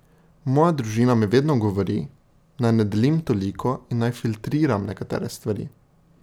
Moja družina mi vedno govori, naj ne delim toliko in naj filtriram nekatere stvari.